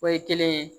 O ye kelen ye